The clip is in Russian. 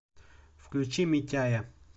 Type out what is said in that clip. включи митяя